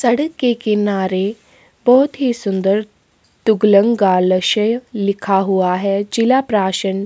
सड़क के किनारे बहुत ही सुंदर तुगलन गालस्य लिखा हुआ है जिला प्रासन--